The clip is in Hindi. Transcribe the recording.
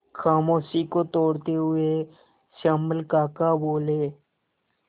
खामोशी को तोड़ते हुए श्यामल काका बोले